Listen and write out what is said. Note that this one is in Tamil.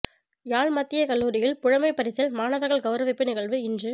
யாழ் மத்திய கல்லூரியில் புலமைப் பரிசில் மாணவர்கள் கௌரவிப்பு நிகழ்வு இன்று